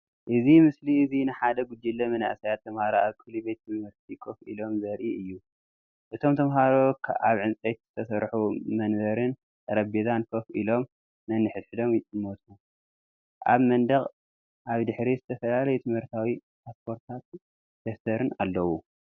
እዚ ምስሊ እዚ ንሓደ ጉጅለ መንእሰያት ተማሃሮ ኣብ ክፍሊ ቤት ትምህርቲ ኮፍ ኢሎም ዘርኢ እዩ። እቶም ተማሃሮ ኣብ ዕንጨይቲ ዝተሰርሑ መንበርን ጠረጴዛን ኮፍ ኢሎም ነንሕድሕዶም ይጥምቱ። ኣብ መንደቕ ኣብ ድሕሪት ዝተፈላለዩ ትምህርታዊ ፖስተራትን ደፍተርን ኣለዉ።